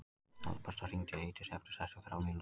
Alberta, hringdu í Eidísi eftir sextíu og þrjár mínútur.